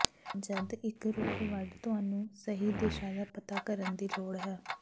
ਜਦ ਇੱਕ ਰੁੱਖ ਵੱਢ ਤੁਹਾਨੂੰ ਸਹੀ ਦਿਸ਼ਾ ਦਾ ਪਤਾ ਕਰਨ ਦੀ ਲੋੜ ਹੈ